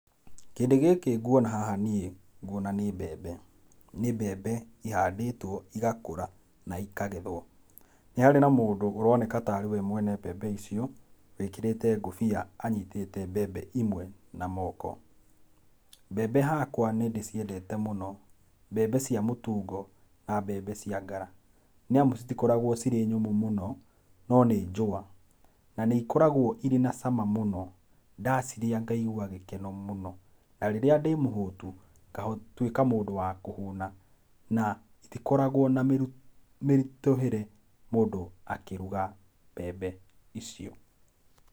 Kĩndũ gĩkĩ nguona haha niĩ, nguona nĩ mbembe. Nĩ mbembe ihandĩtwo igakũra na ikagethwo. Nĩ harĩ na mũndũ ũroneka tarĩ we mwene mbembe icio wĩkĩrĩte ngũbia anyitĩte mbembe imwe na moko. Mbembe hakwa nĩ ndĩciendete mũno, mbembe cia mũtungo na mbembe cia ngara nĩamu citikoragwo ciĩ nyũmũ mũno no nĩ njũa na nĩ ikoragwo irĩ na cama mũno ndacirĩa ngaiua gĩkeno mũno. Na rĩrĩa ndĩmũhũtu ngatuĩka mũndũ wa kũhũna na itikoragwo na mĩritũhĩre mũndũ akĩruga mbembe icio.